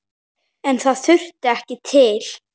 En það þurfti ekki til.